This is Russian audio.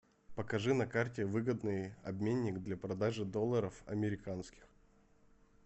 покажи на карте выгодный обменник для продажи долларов американских